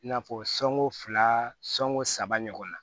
I n'a fɔ sonko fila sɔnko saba ɲɔgɔn na